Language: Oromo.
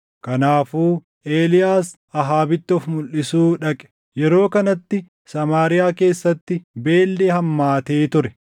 Kanaafuu Eeliyaas Ahaabitti of mulʼisuu dhaqe. Yeroo kanatti Samaariyaa keessatti beelli hammaatee ture.